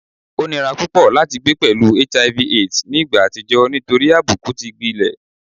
O nira pupọ lati gbe pẹlu HIV / AIDS ni igba atijọ nitori abuku ti gbilẹ